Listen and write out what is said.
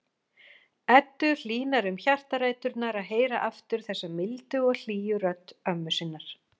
Eddu hlýnar um hjartaræturnar að heyra aftur þessa mildu og hlýju rödd ömmu sinnar.